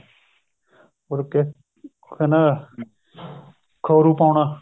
ਮੁੜ ਕੇ ਕਹਿੰਦਾ ਖੋਰੂ ਪਾਉਣਾ